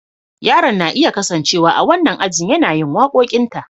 Yaron na iya kasancewa a wannan ajin yana yin waƙoƙinta.